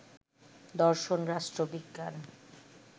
দর্শন, রাষ্ট্রবিজ্ঞান